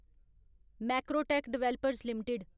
Macrotech Developers limited